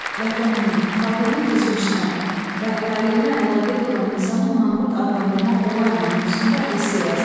Vətəninin, xalqının keçmişinə və taleyinə laqeyd olan insanı manqurt adlandırmaq olarmı mövzusunda esse yazın.